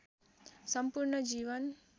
सम्पूर्ण जीवन